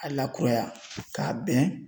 A lakuraya k'a bɛn